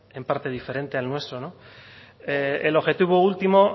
en parte diferente al nuestro el objetivo último